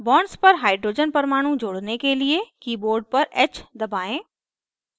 bonds पर hydrogen परमाणु जोड़ने के लिए keyboard पर h दबाएं